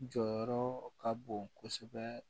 Jɔyɔrɔ ka bon kosɛbɛ